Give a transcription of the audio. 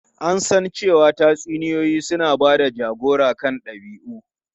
An san cewa tatsuniyoyi suna ba da jagora kan dabi'u.